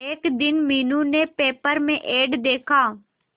एक दिन मीनू ने पेपर में एड देखा